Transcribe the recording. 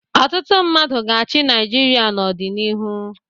Ọtụtụ mmadụ ga-achị Naịjirịa n'ọdịnihu.